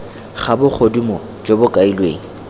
ga bogodimo jo bo kailweng